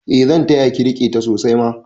Eh zan taya ki rike ta sosai ma